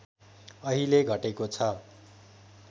अहिले घटेको छ